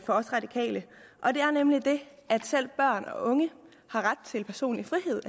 os radikale og det er nemlig det at selv børn og unge har ret til personlig frihed